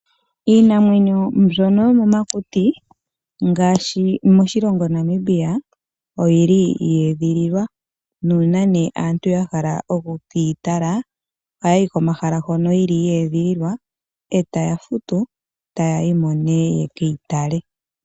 Iinamwenyo mbyono yomomakuti ngaashi moshilongo Namibia oyili yeedhililwa nuuna aantu yahala okukeyi tala ohaya yi komahala hono yili yeedhililwa ee taya futu ta yayimo nee yekeyitale.